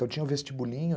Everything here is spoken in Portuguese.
Então, tinha o vestibulinho.